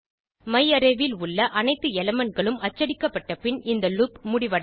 மையாரே ல் உள்ள அனைத்து எலிமெண்ட் களும் அச்சடிக்கப்பட்ட பின் இந்த லூப் முடிவடையும்